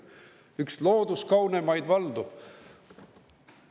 Üks looduskaunimaid valdu!